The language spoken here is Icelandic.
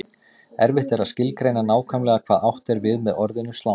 Erfitt er að skilgreina nákvæmlega hvað átt er við með orðinu slangur.